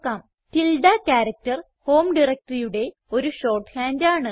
tilde character home directoryയുടെ ഒരു shorthand ആണ്